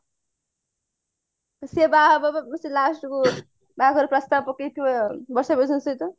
ସେ ବାହାହବ ପା last କୁ ଯାଇକି ବାହାଘର ପ୍ରସ୍ତାବ ପକେଇଥିବ ବର୍ଷା ପ୍ରିୟଦର୍ଶିନୀ ସହିତ